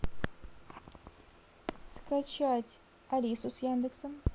скачать алису с яндексом